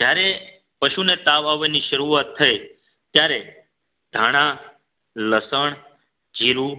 જ્યારે પશુને તાવ આવવાની શરૂઆત થઈ ત્યારે ધાણા લસણ જીરું